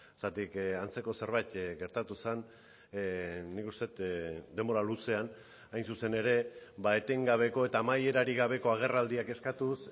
zergatik antzeko zerbait gertatu zen nik uste dut denbora luzean hain zuzen ere etengabeko eta amaierarik gabeko agerraldiak eskatuz